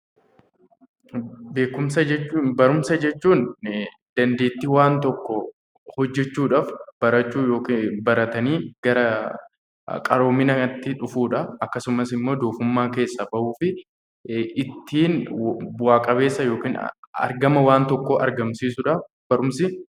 Beekumsa jechuun dandeettii waan tokko hojjechuudhaaf barachuu yookaan baratanii gara qaroominaatti dhufuudha. Akkasumas immoo doofummaa keessaa bahuudhaaf ittiin bu'a qabeessa yookiin argama waan tokkoo argamsiisuudhaaf barumsi...